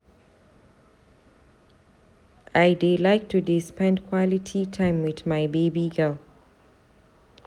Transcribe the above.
I dey like to dey spend quality time wit my baby girl.